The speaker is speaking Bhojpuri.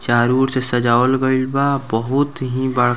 चारो और से सजावल गइल बा बहुत ही बड़ --